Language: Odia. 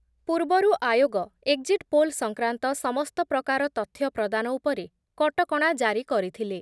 ପୂର୍ବରୁ ଆୟୋଗ ଏକ୍‌ଜିଟ୍ ପୋଲ୍ ସଂକ୍ରାନ୍ତ ସମସ୍ତ ପ୍ରକାର ତଥ୍ୟ ପ୍ରଦାନ ଉପରେ କଟକଣା ଜାରି କରିଥିଲେ ।